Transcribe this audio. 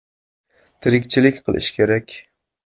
“Tirikchilik qilish kerak.